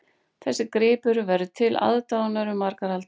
Þessi gripur verður til aðdáunar um margar aldir